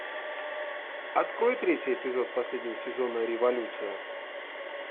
открой третий эпизод последнего сезона революция